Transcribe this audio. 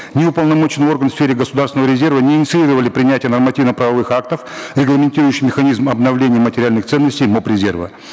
ни уполномоченный орган в сфере государственного резерва не инициировали принятие нормативно правовых актов регламентирующих механизм обновления материальных ценностей моб резерва